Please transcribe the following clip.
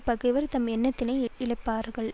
பகைவர் தம் எண்ணத்தினை இழப்பார்கள்